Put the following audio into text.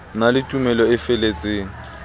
na le tumelo e feletseng